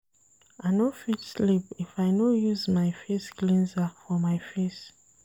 I no fit sleep if I no use my face cleanser for my face.